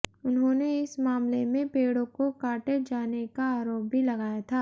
उन्होंने इस मामले में पेड़ों को काटे जाने का आरोप भी लगाया था